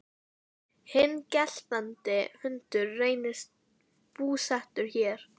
Hinn geltandi hundur reynist búsettur hér.